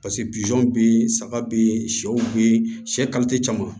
paseke bizu be saga be yen sɛw be yen sɛ caman